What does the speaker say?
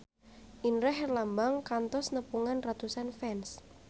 Indra Herlambang kantos nepungan ratusan fans